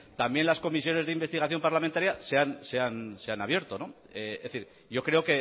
también las comisiones de investigación parlamentaria se han abierto es decir yo creo